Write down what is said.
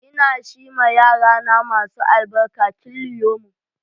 Ina shi ma yarana masu albarka killiyomun.